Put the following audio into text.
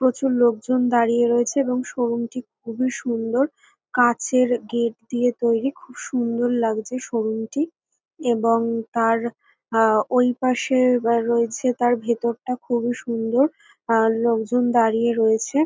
প্রচুর লোকজন দাঁড়িয়ে রয়েছে এবং শো রুম টি খুবই সুন্দর। কাঁচের গেট দিয়ে তৈরি খুব সুন্দর লাগছে শো রুম টি এবং তার আহ ওই পাশে রয়েছে তার ভেতরটা খুবই সুন্দর আর লোকজন দাঁড়িয়ে রয়েছে।